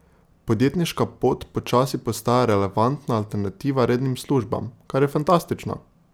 Podjetniška pot počasi postaja relevantna alternativa rednim službam, kar je fantastično!